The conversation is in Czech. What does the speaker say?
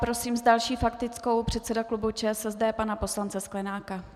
Prosím s další faktickou předsedu klubu ČSSD pana poslance Sklenáka.